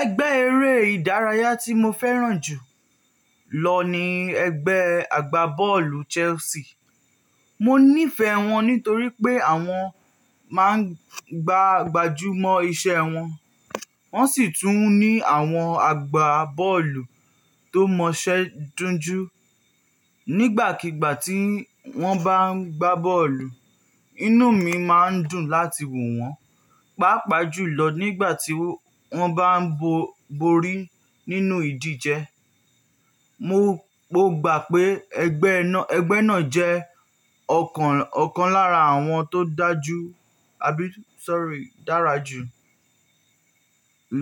Ẹgbẹ́ eré ìdárayá tí mo fẹ́ràn jù lọ ni ẹgbẹ́ àgbábọ́ọ̀lù Chelsea. Mo nífẹ̀ẹ́ wọn nítorí pé àwọn máa ń gbàgbájú mọ́ iṣẹ́ wọn, wọ́n sì tún ní àwọn àgbábọ́ọ̀lù tó mọṣẹ́ dunju. Nígbàkigbà tí wọ́n bá ń gbá bọ́ọ̀lù, inú mi máa ń dùn láti wò wọ́n, pàápàá jùlọ nígbà tí wọ́n bá ń bo borí nínú ìdíje. Mo gbá pé ẹgbẹ́ náà jẹ́ ọ̀kan lára àwọn tó dára jù